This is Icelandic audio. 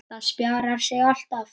Það spjarar sig alltaf.